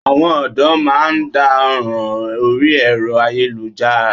Àwọn ọ̀dọ́ má a ndá ọ̀ràn orí ẹ̀rọ ayéluhára